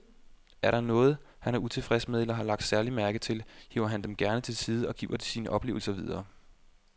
Er der noget, han er utilfreds med eller har lagt særlig mærke til, hiver han dem gerne til side og giver sine oplevelser videre.